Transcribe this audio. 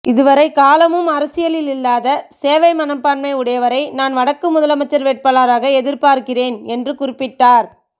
இதுவரை காலமும் அரசியலில் இல்லாதா சேவை மனப்பான்மை உடையவரை நான் வடக்கு முதலமைச்சர் வேட்பாளராக எதிர்பார்க்கின்றேன் என்று குறிப்பிட்டார்